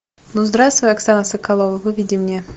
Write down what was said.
ну здравствуй оксана соколова выведи мне